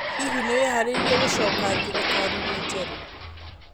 Hihi nĩ wĩharĩirie gũcoka thirikari-inĩ jerũ?